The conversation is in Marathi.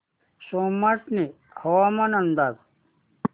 सोमाटणे हवामान अंदाज